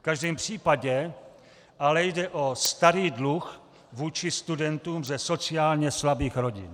V každém případě ale jde o starý dluh vůči studentům ze sociálně slabých rodin.